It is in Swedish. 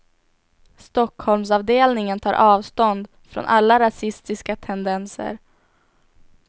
Stockholmsavdelningen tar avstånd från alla rasistiska tendenser.